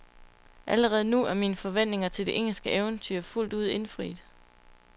Allerede nu er mine forventninger til det engelske eventyr fuldt ud indfriet.